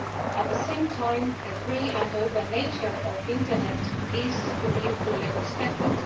At the same time, the free and open nature of the Internet is to be fully respected.